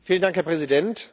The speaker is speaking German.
Herr Präsident!